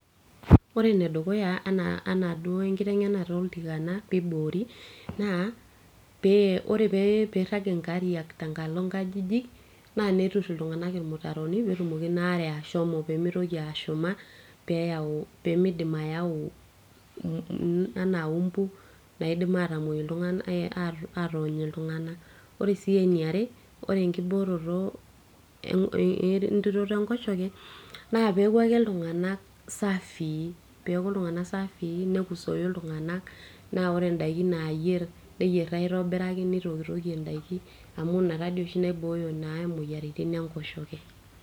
ore enedukuya enaa, enaduo enkiteng'enata oltikana piibori naa pee ore peirrag inkariak tenkalo inkajijik naa neturr iltung'anak irmutaroni petumoki ina are ashomo peemitoki ashuma pemidim ayau anaa umbu naidim atamuoi, atony iltung'anak ore sii eniare ore enkiboroto entiroto enkoshoke naa peeku ake iltung'anak safii, peeku iltung'anak safii nekusoi iltung'anak naa ore indaiki nayierr neyierr aitobiraki nitokitokie indaiki amu ina tadi oshi naibooyo naa imoyiaritin enkoshoke.